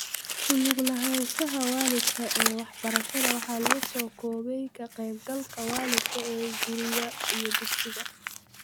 Ku lug lahaanshaha waalidka ee waxbarashada waxa lagu soo koobay ka qayb galka waalidka ee guriga iyo dugsiga.